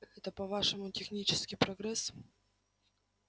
это по-вашему технический прогресс